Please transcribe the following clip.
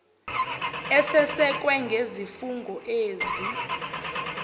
esesekwe ngezifungo ezi